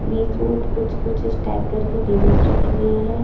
बीच मे कुछ कुछ स्टैग करके टेबल्स रखी गई हैं।